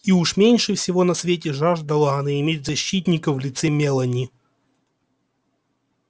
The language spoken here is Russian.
и уж меньше всего на свете жаждала она иметь защитника в лице мелани